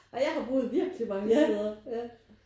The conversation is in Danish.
Og jeg har boet virkelig mange steder